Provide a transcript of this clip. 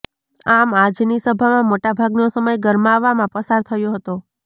આમ આજની સભામાં મોટા ભાગનો સમય ગરમાવામાં પસાર થયો હતો